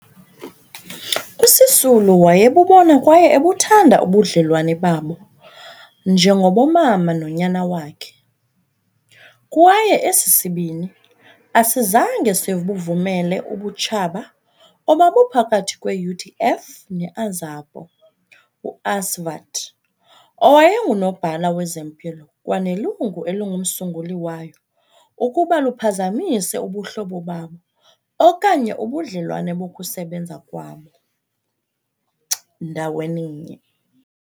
USisulu wayebubona kwaye ebuthanda ubudlelwane babo njengobomama nonyana wakhe, kwaye esi sibini asizange sibuvumele ubutshaba obabuphakathi kwe-UDF ne-Azapo uAsvat owayenguNobhala Wezempilo kwanelungu elingumsunguli wayo, ukuba luphazamise ubuhlobo babo okanye ubudlelwane bokusebenza kwabo ndaweninye.